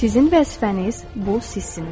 Sizin vəzifəniz bu sizsiniz.